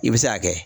I bɛ se k'a kɛ